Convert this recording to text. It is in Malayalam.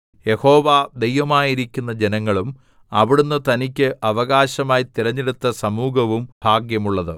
യഹോവ ദൈവമായിരിക്കുന്ന ജനങ്ങളും അവിടുന്ന് തനിക്ക് അവകാശമായി തിരഞ്ഞെടുത്ത സമൂഹവും ഭാഗ്യമുള്ളത്